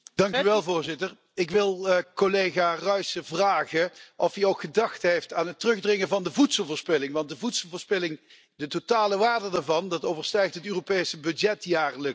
Voorzitter, ik wil collega Ruissen vragen of hij ook gedacht heeft aan het terugdringen van de voedselverspilling, want de voedselverspilling de totale waarde daarvan overstijgt het Europese budget jaarlijks.